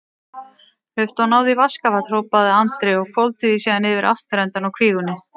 Hlauptu og náðu í vaskafat, hrópaði Andri og hvolfdi því síðan yfir afturendann á kvígunni.